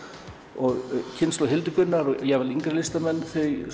og kynslóð Hildigunnar og jafnvel yngri listamenn